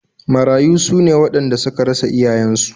Marayu su ne waɗanda suka rasa iyayensu